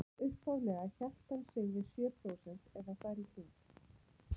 Upphaflega hélt hann sig við sjö prósent eða þar í kring.